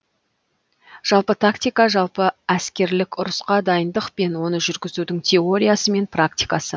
жалпы тактика жалпы әскерлік ұрысқа дайындық пен оны жургізудің теориясы мен практикасы